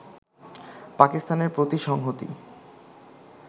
পাকিস্তানের প্রতি সংহতি